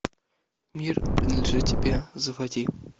мир принадлежит тебе заводи